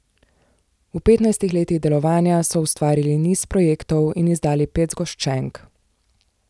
V petnajstih letih delovanja so ustvarili niz projektov in izdali pet zgoščenk.